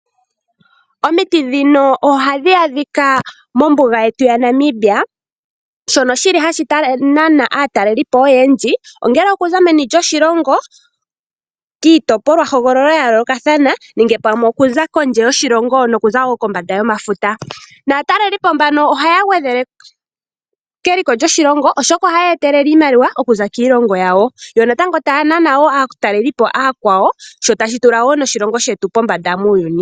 Omiti dhino ohadhi adhia mombuga yetu yaNamibia nohashi nana aatalelipo oyendji ongele okuza meni lyoshilongo kiitopolwa hogololo ya yoolokothana okuza kondje yomafuta. Aatalelipo mbano ohaya gwedhele keliko lyoshilongo oshoka ohaya etelele iimaliwa yo ohaya nana wo aatalelipo aakwawo nohashi tula oshilongo shetu pombanda muuyuni.